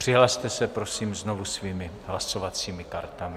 Přihlaste se prosím znovu svými hlasovacími kartami.